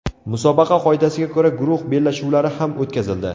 Musobaqa qoidasiga ko‘ra, guruh bellashuvlari ham o‘tkazildi.